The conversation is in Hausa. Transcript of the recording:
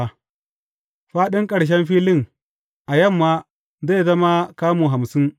Faɗin ƙarshen filin a yamma zai zama kamu hamsin.